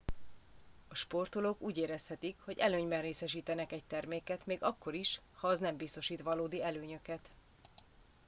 a sportolók úgy érezhetik hogy előnyben részesítenek egy terméket még akkor is ha az nem biztosít valódi előnyöket